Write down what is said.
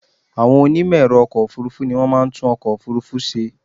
Àwọn onímẹ̀ẹ̀rọ ọkọ̀ ọ̀furufú ni wọ́n máa ń tún ọkọ̀ òfurufú ṣe.